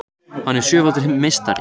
Hann er sjöfaldur meistari